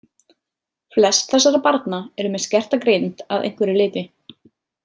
Flest þessara barna eru með skerta greind að einhverju leyti.